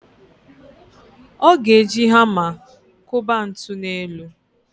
Ọ ga-eji hama kụba ntu n'elu.